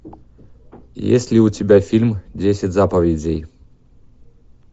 есть ли у тебя фильм десять заповедей